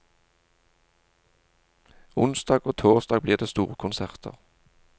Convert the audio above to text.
Onsdag og torsdag blir det storkonserter.